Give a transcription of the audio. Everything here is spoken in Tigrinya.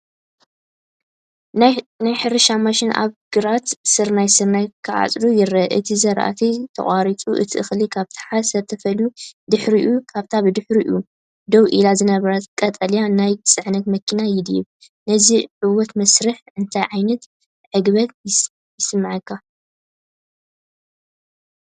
ናይ ሕርሻ ማሽን ኣብ ግራት ስርናይ ስርናይ ክዓጽድ ይርአ። እቲ ዝራእቲ ተቖሪጹ እቲ እኽሊ ካብቲ ሓሰር ተፈልዩ ድሕሪኡ ኣብታ ብድሕሪኡ ደው ኢላ ዝነበረት ቀጠልያ ናይ ጽዕነት መኪና ይድርበ። ነዚ ዕዉት መስርሕ እንታይ ዓይነት ዕግበት ይስምዓካ?